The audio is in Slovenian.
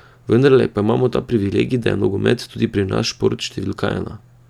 Vendarle pa imamo ta privilegij, da je nogomet tudi pri nas šport številka ena.